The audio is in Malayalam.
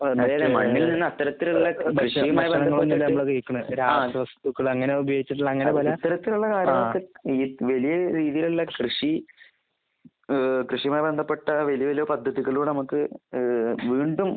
മണ്ണിൽ നിന്ന് അത്തരത്തിൽ ഉള്ള ഇത്തരത്തിലുള്ള രാസവസ്തു ഈ വലിയ രീതിയിലുള്ള കൃഷി ഏഹ് കൃഷിയുമായി ബന്ധപ്പെട്ട വലിയ വലിയ പദ്ധതികൾ നമുക്ക് ഏഹ് വീണ്ടും